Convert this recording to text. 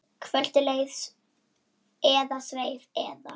Kvöldið leið eða sveif eða.